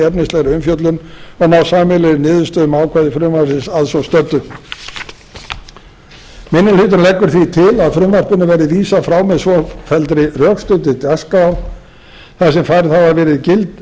efnislegri umfjöllun og ná sameiginlegri niðurstöðu um ákvæði frumvarpsins að svo stöddu minni hlutinn leggur því til að frumvarpinu verði vísað frá með svofelldri rökstuddri dagskrá þar sem færð hafa verið gild